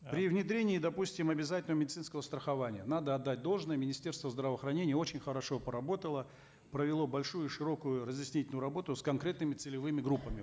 при внедрении допустим обязательного медицинского страхования надо отдать должное министерство здравоохранения очень хорошо поработало провело большую широкую разъяснительную работу с конкретными целевыми группами